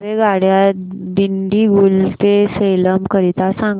रेल्वेगाड्या दिंडीगुल ते सेलम करीता सांगा